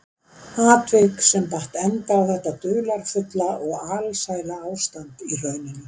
Atvik sem batt enda á þetta dularfulla og alsæla ástand í hrauninu.